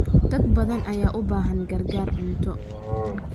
Dad badan ayaa u baahan gargaar cunto.